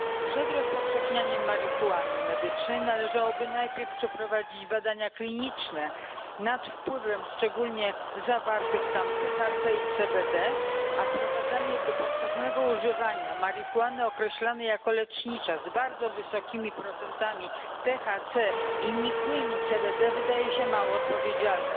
Przed rozpowszechnianiem marihuany medycznej należałoby najpierw przeprowadzić badania kliniczne nad wpływem szczególnie zawartych tam THC i CBD, a wprowadzanie do powszechnego używania marihuany określanej jako lecznicza z bardzo wysokimi procentami THC i nikłymi CBD wydaje się mało odpowiedzialne.